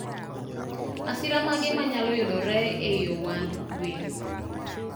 masira mage manyalo yudore eiy ohand gwen?